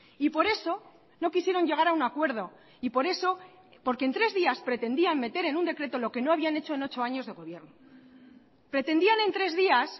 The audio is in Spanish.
y por eso no quisieron llegar a un acuerdo y por eso porque en tres días pretendían meter en un decreto lo que no habían hecho en ocho años de gobierno pretendían en tres días